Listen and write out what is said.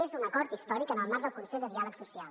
és un acord històric en el marc del consell de diàleg social